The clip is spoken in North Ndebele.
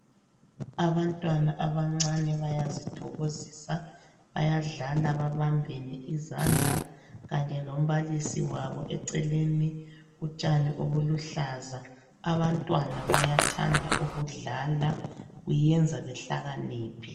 Abantwana abancane bayazithokozisa , bayadlala babambene izandla kanye lombalisi wabo eceleni. Utshani obubuhlaza , abantwana bayathanda ukudlala, kuyenza behlakaniphe.